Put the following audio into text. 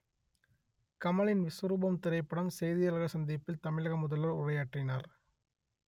கமலின் விஸ்வரூபம் திரைப்படம் செய்தியாளர்கள் சந்திப்பில் தமிழக முதல்வர் உரையாற்றினார்